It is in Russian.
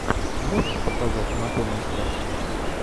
можешь показать анатомия страсти